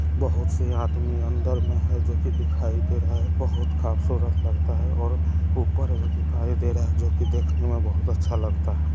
बोहोत से आदमी अंदर मे हैं जो की दिखाई दे रहा हैं बहुत खूबसूरत लगता हैं और ऊपर भी दिखाई दे रहा जो की देखने मे बहुत अच्छा लगता हैं।